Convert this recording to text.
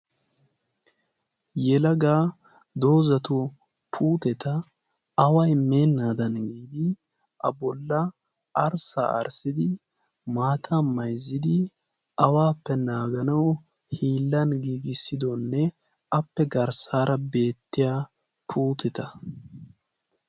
Yelagaa doozata puuteta away meennaadan giidi a bolla arssa arssidi maata maizzidi awaappe naaganau hiillan giigissidoonne appe garssaara beettiya puuteta.